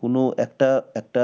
কোন একটা একটা